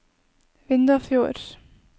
Vindafjord